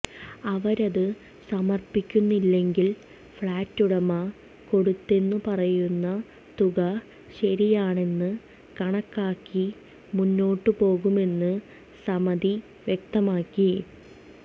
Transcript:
അവരത് സമർപ്പിക്കുന്നില്ലെങ്കിൽ ഫ്ളാറ്റുടമ കൊടുത്തെന്നു പറയുന്ന തുക ശരിയാണെന്ന് കണക്കാക്കി മുന്നോട്ടുപോകുമെന്ന് സമിതി വ്യക്തമാക്കി